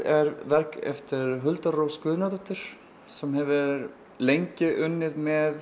er verk eftir Huldu Rós Guðnadóttur sem hefur lengi unnið með